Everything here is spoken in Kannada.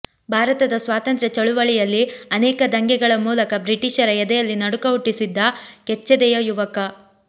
ಭಾರತದ ಸ್ವಾತಂತ್ರ್ಯ ಚಳುವಳಿಯಲ್ಲಿ ಅನೇಕ ದಂಗೆಗಳ ಮೂಲಕ ಬ್ರಿಟಿಷರ ಎದೆಯಲ್ಲಿ ನಡುಕ ಹುಟ್ಟಿಸಿದ್ದ ಕೆಚ್ಚೆದೆಯ ಯುವಕ